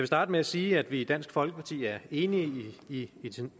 starte med at sige at vi i dansk folkeparti er enige i